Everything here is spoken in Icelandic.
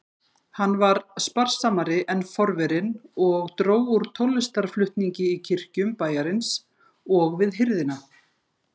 Hann var sparsamari en forverinn og dró úr tónlistarflutningi í kirkjum bæjarins og við hirðina.